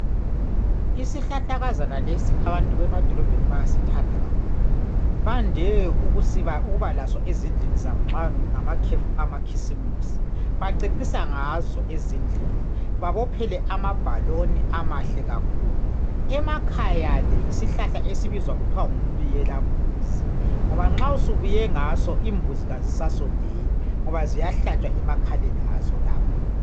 Isihlahlakazana lesi abantu bemadolobheni bayasithanda kakhulu bande ukubalaso ezindlini zabo nxa ngamakhefu amakhisimusi bacecisa ngazo ezindlini babophele amabhaloni amahle kakhulu ,emakhaya ke yisihlahla esibizwa kuthwa ngumbiyelambuzi ngoba nxa subiye ngaso imbuzi kazisasondeli ngoba ziyahlatshwa emakhaleni azo lapho.